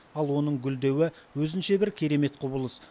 ал оның гүлдеуі өзінше бір керемет құбылыс